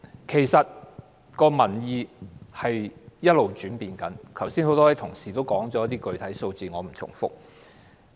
其實，民意一直在轉變，很多同事剛才也說過一些具體數字，我不重複了。